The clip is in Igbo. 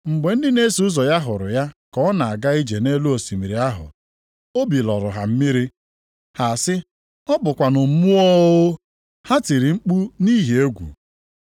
Mgbe ndị na-eso ụzọ ya hụrụ ya ka ọ na-aga ije nʼelu osimiri ahụ, obi lọrọ ha mmiri, ha sị, “Ọ bụkwanụ mmụọ o!” Ha tiri mkpu nʼihi egwu.